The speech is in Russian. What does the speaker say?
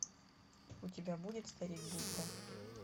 у тебя будет старик будда